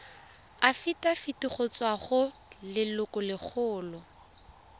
afitafiti go tswa go lelokolegolo